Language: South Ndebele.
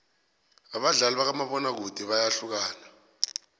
abadlali bakamabona kude bayahlukana